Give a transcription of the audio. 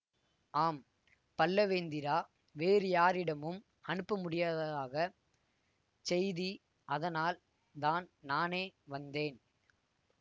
ஆம் பல்லவேந்திரா வேறு யாரிடமும் அனுப்ப முடியாததாக செய்தி அதனால்தான் நானே வந்தேன்